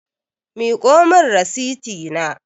Miƙo min rasiti na